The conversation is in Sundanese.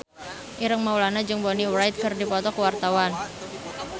Ireng Maulana jeung Bonnie Wright keur dipoto ku wartawan